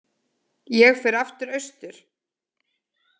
Ég fer aftur austur.